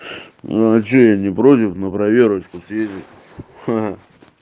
ну что я не против на проверочку съездить ха